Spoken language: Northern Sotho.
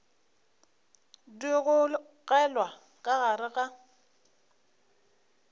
di gogelwa ka gare ga